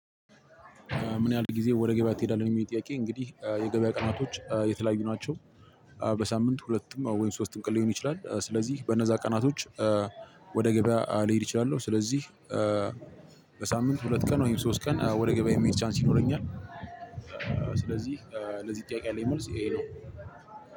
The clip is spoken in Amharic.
ምን? ያክል ጊዜ ወደ ገበያ ትሄዳለህ የምል ጥያቄ እንግዲህ የገበያ ቀናቶች የተለያዩ ናቸው። በሳምንት ሁለት ወይም ሶስት ቀን ሊሆን ይችላል ስለዚህ በነዛ ቀናቶች ወደ ገበያ ሊሄድ እችላለሁ። ስለዚህ በሳምንት ሁለት ቀን ወይም ሶስት ቀን ወደ ገበያ የሚሄድ ቻንስ ይኖረኛል። ስለዚህ ለዚህ ጥያቄ ያለን መልስ ይሄ ነው።